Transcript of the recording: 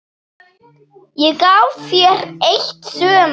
Ég gaf þér eitt sumar.